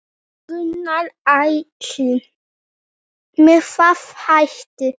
Gunnar Atli: Með hvaða hætti?